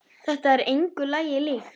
Þetta er engu lagi líkt.